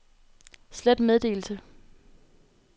slet meddelelse